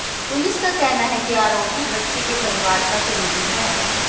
police का कहना है कि आरोपी बच्ची के परिवार का करीबी है